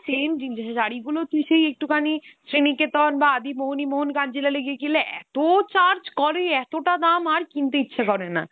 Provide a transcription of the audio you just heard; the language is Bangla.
same জিনিস শাড়িগুলো তুই সেই একটুখানি শ্রীনিকেতন বা আদি মোহিনীমোহন কাঞ্জিলালে গিয়ে কিনলে এত charge করে, এতটা দাম, আর কিনতে ইচ্ছে করে না।